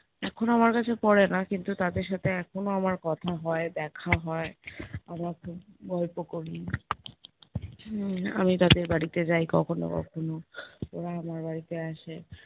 এখন আমার কাছে পরে না কিন্তু তাদের সাথে এখনো আমার কথা হয় দেখা হয়, আমার এখন গল্প করি, উম আমি তাদের বাড়িতে যাই কখনো কখনো ওরা আমার বাড়িতে আসে